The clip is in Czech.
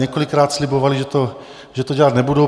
Několikrát slibovali, že to dělat nebudou.